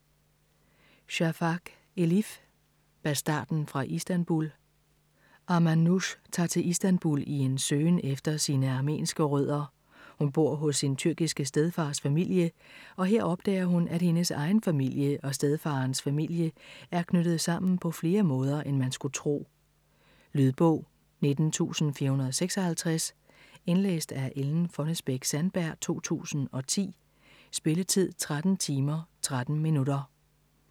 Shafak, Elif: Bastarden fra Istanbul Armanoush tager til Istanbul i en søgen efter sine armenske rødder. Hun bor hos sin tyrkiske stedfars familie og her opdager hun, at hendes egen familie og stedfaderens familie er knyttet sammen på flere måder, end man skulle tro. Lydbog 19456 Indlæst af Ellen Fonnesbech-Sandberg, 2010. Spilletid: 13 timer, 13 minutter.